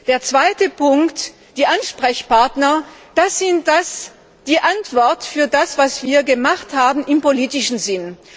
Der zweite Punkt die Ansprechpartner Das ist die Antwort auf das, was wir gemacht haben im politischen Sinn.